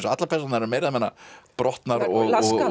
allar persónurnar eru meira og minna brotnar og